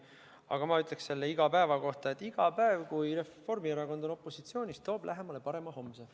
Aga ma ütleksin selle "iga päeva" kohta, et iga päev, kui Reformierakond on opositsioonis, toob lähemale parema homse.